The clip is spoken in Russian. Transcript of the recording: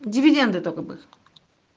дивиденды только бы